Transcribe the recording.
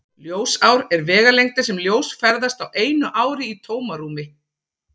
Ljósár er vegalengdin sem ljós ferðast á einu ári í tómarúmi.